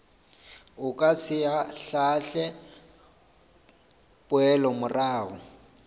o ka se ahlaahle poelomorago